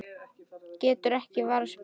Getur ekki varist brosi.